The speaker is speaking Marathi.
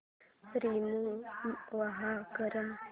रिमूव्ह कर